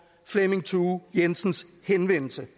flemming thue jensens henvendelse